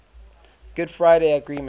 good friday agreement